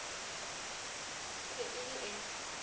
e be e le e